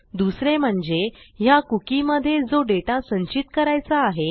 दुसरे म्हणजे ह्या cookieमधे जो डेटा संचित करायचा आहे